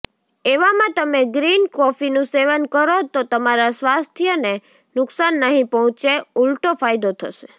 એવામાં તમે ગ્રીન કોફીનું સેવન કરો તો તમારા સ્વાસ્થ્યને નુકસાન નહીં પહોંચે ઊલટો ફાયદો થશે